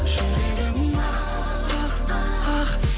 жүрегім ақ ақ ақ